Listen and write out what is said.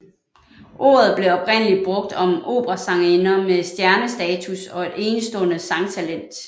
Ordet blev oprindeligt brugt om operasangerinder med stjernestatus og et enestående sangtalent